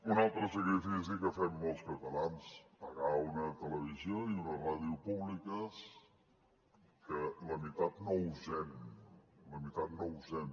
un altre sacrifici que fem molts catalans pagar una televisió i una ràdio públiques que la mitat no usem la mitat no usem